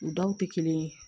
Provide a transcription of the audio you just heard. U daw tɛ kelen ye